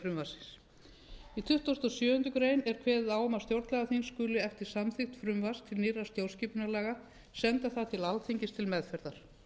frumvarpsins í tuttugasta og sjöundu greinar greininni er kveðið á um að stjórnlagaþing skuli eftir samþykkt frumvarps til nýrra stjórnarskipunarlaga senda það til alþingis til meðferðar